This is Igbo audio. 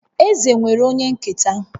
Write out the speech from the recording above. Eze nwere onye nketa